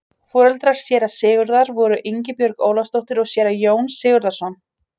Foreldrar séra Sigurðar voru Ingibjörg Ólafsdóttir og séra Jón Sigurðsson.